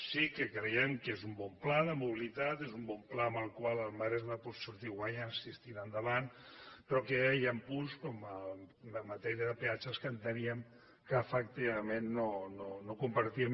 sí que creiem que és un bon pla de mobilitat és un bon pla amb el qual el maresme pot sortir guanyant si es tira endavant però en què hi han punts com en matèria de peatges que enteníem que efectivament no compartíem